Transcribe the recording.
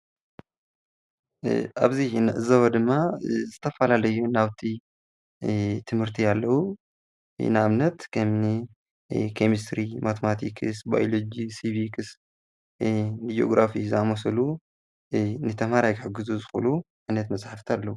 ኣብዚ እንዕዘቦ ድማ ዝተፈላለዩ ናውቲ ትምህርቲ ኣለው፡፡ ንኣብነት ኬሚሰትሪ፣ ማተማቲክስ፣ ባዮሎጂ፣ ስቪክስ፣ እኒ ጂኦግራፊ ዝኣምሳሰሉ ንተምሃራይ ክሕግዙ ዝክእሉ ዓይነት መፅሓፍቲ ኣለው፡፡